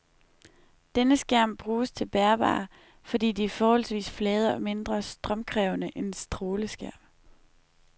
Denne skærm bruges til bærbare, fordi de er forholdsvis flade og mindre strømkrævende end stråleskærme.